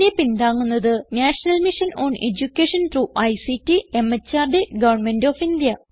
ഇതിനെ പിന്താങ്ങുന്നത് National Mission on Education through ICT MHRD Government of India